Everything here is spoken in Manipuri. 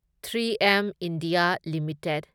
three M India limited